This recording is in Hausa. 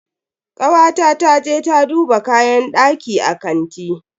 Kawata ta je ta duba kayan daki a kanti.